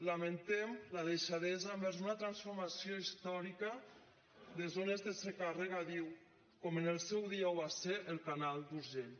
lamentem la deixadesa envers una transformació històrica de zones de secà a regadiu com en el seu dia ho va ser el canal d’urgell